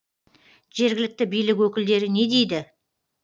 жергілікті билік өкілдері не дейді